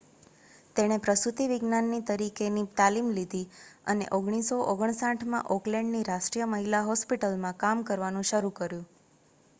તેણે પ્રસૂતિવિજ્ઞાની તરીકેની તાલીમ લીધી અને 1959માં ઑકલેન્ડની રાષ્ટ્રીય મહિલા હોસ્પિટલમાં કામ કરવાનું શરૂ કર્યું